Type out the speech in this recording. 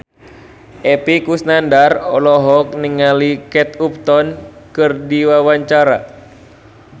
Epy Kusnandar olohok ningali Kate Upton keur diwawancara